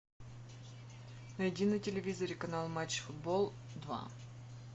найди на телевизоре канал матч футбол два